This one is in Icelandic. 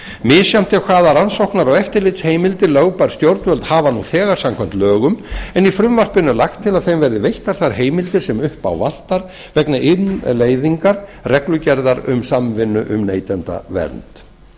misjafnt er hvaða rannsóknar og eftirlitsheimildir lögbær stjórnvöld hafa nú þegar samkvæmt lögum en í frumvarpinu er lagt til að þeim verði veittar þær heimildir sem upp á vantar vegna innleiðingar reglugerðar um samvinnu um neytendavernd þó